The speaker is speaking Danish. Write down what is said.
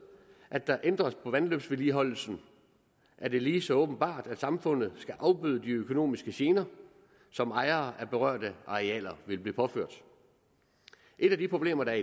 at der ændres på vandløbsvedligeholdelsen er det lige så åbenbart at samfundet skal afbøde de økonomiske gener som ejere af berørte arealer vil blive påført et af de problemer der